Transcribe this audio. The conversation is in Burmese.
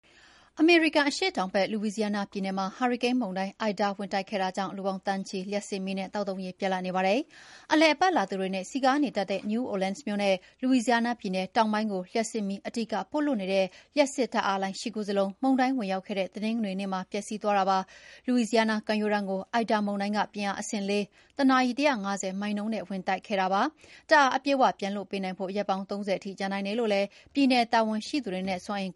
အမေရိကန်အရှေ့တောင်ဖက်က Louisiana ပြည်နယ်မှာ ဟာရီကိန်းမုန်တိုင်း Ida ဝင်တိုက်ခဲ့တာကြောင့် လူပေါင်းသန်းချီ လ ျှပ်စစ်မီးနဲ့ သောက်သုံးရေပြတ်လပ်နေပါတယ်။ အလည်အပတ်လာသူတွေနဲ့စည်ကားနေတတ်တဲ့ New Orelans မြို့နဲ့ Louisiana ပြည်နယ်တောင်ပိုင်းကို လ ျှပ်စစ်မီးအဓိကပို့လွှတ်နေတဲ့ လ ျှပ်စစ်ဓာတ်အားလိုင်း ၈ ခုစလုံး မုန်တိုင်းဝင်ရောက်ခဲ့တဲ့တနင်္ဂနွေနေ့ မှာ ပျက်စီးသွားတာပါ။ Louisiana ကမ်းရိုးတန်းကို Ida မုန်တိုင်းက ပြင်းအားအဆင့်၄၊ တနာရီ ၁၅၀ မိုင်နှုန်းနဲ့ဝင်တိုက်ခဲ့တာဖြစ်ပါတယ်။ ဓာတ်အား အပြည့်အ၀ ပြန်လွှတ်ပေးနိုင်ဖို့ ရက်ပေါင်း ၃၀ ထိကြာနိုင်တယ်လို့ ပြည်နယ်တာဝန်ရှိသူတွေနဲ့ စွမ်းအင်